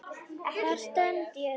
Hvar stend ég þá?